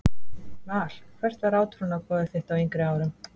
Val Hvert var átrúnaðargoð þitt á yngri árum?